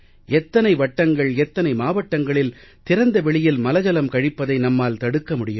எத்தனை வட்டங்கள் எத்தனை மாவட்டங்களில் திறந்த வெளியில் மலஜலம் கழிப்பதை நம்மால் தடுக்க முடியும்